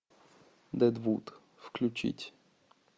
дэдвуд включить